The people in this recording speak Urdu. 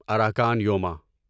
اراکان یوما